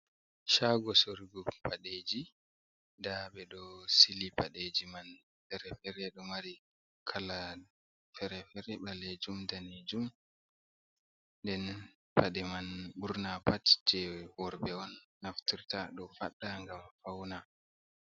Shago sorugo paɗeji. Nda ɓeɗo sili padeji man fere-fere ɗo mari kala fere-fere ɓalejum, danejum nden paɗe man ɓurna pat je worɓe on naftirta ɗo ɓedda ngam fauna.